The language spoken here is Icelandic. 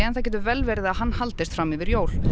það getur vel verið að hann haldist fram yfir jól